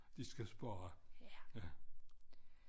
De skal spare ja